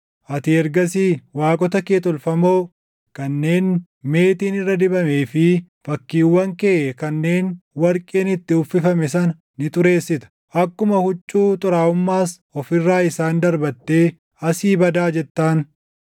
Ati ergasii waaqota kee tolfamoo kanneen meetiin irra dibamee fi fakkiiwwan kee kanneen warqeen itti uffifame sana ni xureessita; akkuma huccuu xuraaʼummaas of irraa isaan darbattee, “Asii badaa!” jettaan.